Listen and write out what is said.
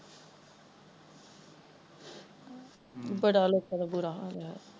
ਹਮ ਬੜਾ ਲੋਕਾਂ ਦਾ ਬੁਰਾ ਹਾਲ ਹੋਇਆ ਹੈ